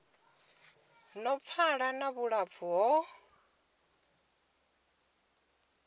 no pfala na vhulapfu ho